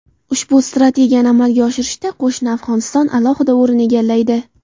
Ushbu strategiyani amalga oshirishda qo‘shni Afg‘oniston alohida o‘rin egallaydi.